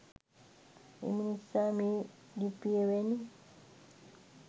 එම නිසා මේ ලිපිය වැනි